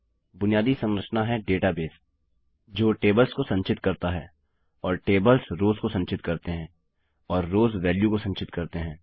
बुनियादी संरचना है डेटाबेस जो टेबल्स को संचित करता है और टेबल्स रोव्स को संचित करते हैं और रोव्स वेल्यू को संचित करते हैं